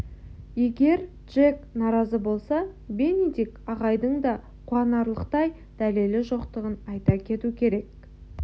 егер джек наразы болса бенедикт ағайдың да қуанарлықтай дәлелі жоқтығын айта кету керек